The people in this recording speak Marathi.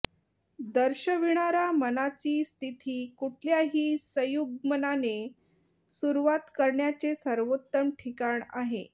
दर्शविणारा मनाची िस्थती कुठल्याही संयुग्मनाने सुरुवात करण्याचे सर्वोत्तम ठिकाण आहे